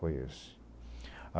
Foi esse.